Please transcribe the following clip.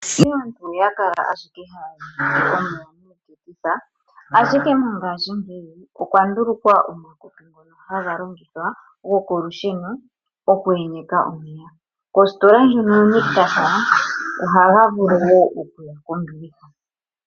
Shito aantu oya kala owala haya enyeke omeya miiketitha, ashike mongashingeyi okwa ndulukwa omakopi ngono gokolusheno, goku enyeka omeya. Kositola ndjono yoNictus, ohaga vulu okuya kombiliha.